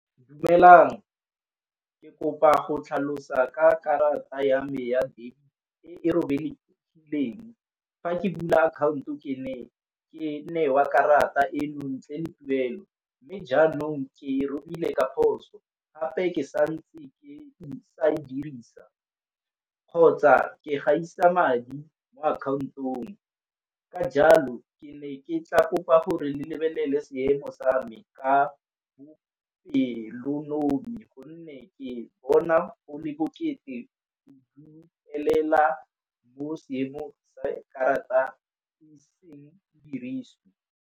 Dumelang ke kopa go tlhalosa ka karata ya me ya e e robegileng. Fa ke bula akhaonto ke ne ke newa karata eno ntle le tuelo, mme jaanong ke robile ka phoso. Gape ke santse ke sa e dirisa kgotsa ke gaisa madi mo akhaontong. Ka jalo ke ne ke tla kopa gore le lebelele seemo sa me ka a bopelonomi gonne ke bona o le bokete mo seemo sa karata diriswe.